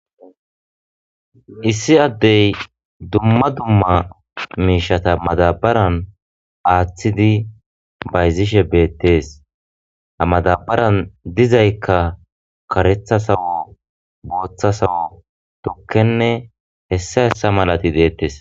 Issi addey dumma dumma miishata madabaran aaththidi bayzishe beettees amadabaran dizaykka karetha sawo booththa sawo tukkenne hessa hessa malati deettes.